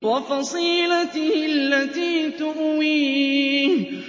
وَفَصِيلَتِهِ الَّتِي تُؤْوِيهِ